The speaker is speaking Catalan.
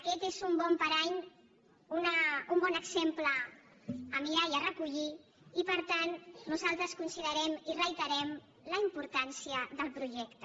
aquest és un bon parany un bon exemple a mirar i a recollir i per tant nosaltres considerem i reiterem la importància del projecte